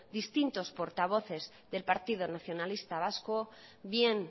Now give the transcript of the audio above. distintos portavoces del partido nacionalista vasco bien